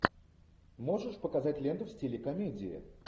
можешь показать ленту в стиле комедии